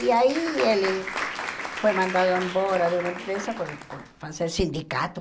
E aí ele foi mandado embora de uma empresa por por fazer sindicato.